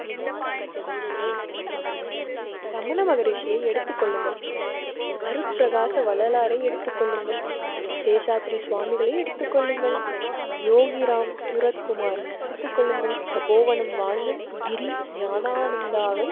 ரமண மகரிஷி எடுத்துக் கொள்ளுங்கள், அருட்பரகாச வள்ளலாரை எடுத்துக் கொள்ளுங்கள். சேஷாத்ரி சுவாமிகளை எடுத்துக் கொள்ளுங்கள், யோகி ராம்சுரத்குமார் எடுத்துக் கொள்ளுங்கள். தபோவனம் வாழ்ந்து கிரி ஞானானந்தாவை